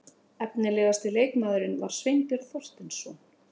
Efnilegasti leikmaðurinn var Sveinbjörn Þorsteinsson.